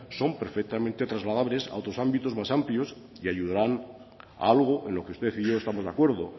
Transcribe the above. son perfectamente trasladables a otros ámbitos más amplios y ayudarán a algo en lo que usted y yo estamos de acuerdo